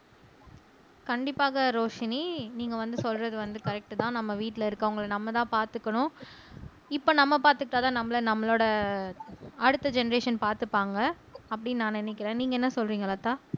கண்டிப்பாக ரோஷினி நீங்க வந்து சொல்றது வந்து கரெக்ட் தான் நம்ம வீட்டுல இருக்கிறவங்களை நம்மதான் பாத்துக்கணும் இப்ப நம்ம பாத்துக்கிட்டாதான் நம்மளை நம்மளோட அடுத்த ஜென்ரேஷன் பாத்துப்பாங்க அப்படின்னு நான் நினைக்கிறேன் நீங்க என்ன சொல்றீங்க லதா